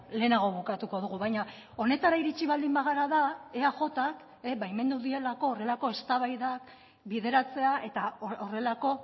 lehenago bukatuko dugu baina honetara iritsi baldin bagara da eajk baimendu dielako horrelako eztabaidak bideratzea eta horrelako